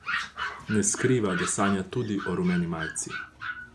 Ne skriva, da sanja tudi o rumeni majici.